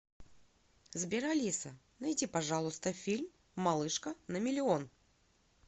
сбер алиса найди пожалуйста фильм малышка на миллион